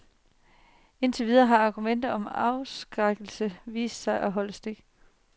Indtil videre har argumentet om afskrækkelse vist sig at holde stik.